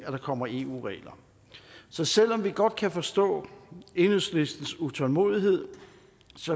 at der kommer eu regler så selv om vi godt kan forstå enhedslistens utålmodighed